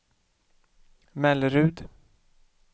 Mellerud